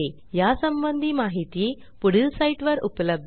या संबंधी माहिती पुढील साईटवर उपलब्ध आहे